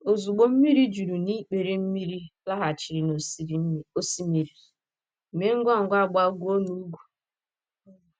Ozugbo mmiri juru n’ikpere mmiri laghachiri n’osimiri, mee ngwa ngwa gbagoo n’ugwu.